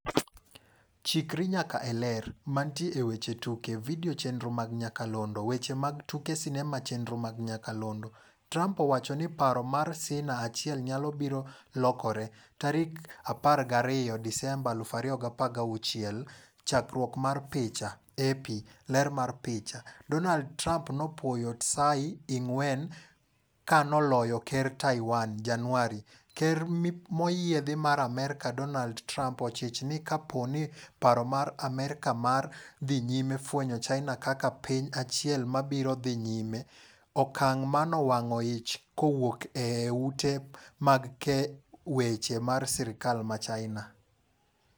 Chikri nyaka e Ler. Mantie e weche tuke. Video chenro mag nyakalondo. Weche mag tuke sinema chenro mag nyakalondo. Trump owacho ni paro mar Cina achiel nyalo biro lokore, tarik 12 Disemba 2016. Chakruok mar picha, AP. Ler mar picha, Donald Trump nopuoyo Tsai Ing-wen kanoloyo ker Taiwan, Januari. Ker moyiedhi marAmerka Donald Trump ochich ni ka po ni paro mar Amerkamar dhi nyime fwenyo China kaka piny achiel ma biro dhi nyime, okang' manowang'o ich kowuok e e ute mag kee weche mar sirkal ma China.